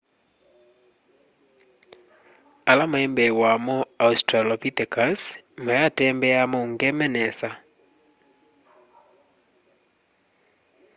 ala maimbee wamo australopithecus wayatembeaa maungeme nesa